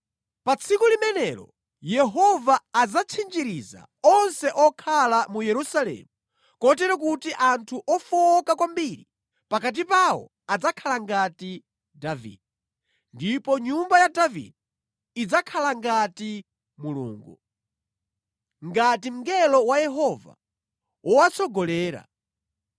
Pa tsiku limenelo Yehova adzatchinjiriza onse okhala mu Yerusalemu, kotero kuti anthu ofowoka kwambiri pakati pawo adzakhala ngati Davide, ndipo nyumba ya Davide idzakhala ngati Mulungu, ngati mngelo wa Yehova wowatsogolera.